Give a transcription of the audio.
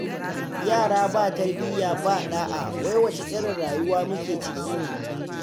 Yara ba tarbiyya ba ɗa'a wai wace irin rayuwa muke ciki ne?